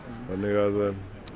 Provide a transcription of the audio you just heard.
þannig að